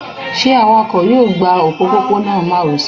ṣe awakọ yọọ gbá ọpopona maròsè?